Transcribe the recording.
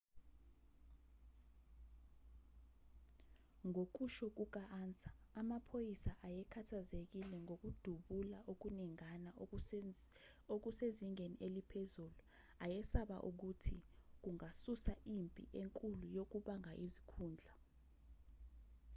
ngokusho kuka-ansa amaphoyisa ayekhathazekile ngokudubula okuningana okusezingeni eliphezulu ayesaba ukuthi kungasusa impi enkulu yokubanga izikhundla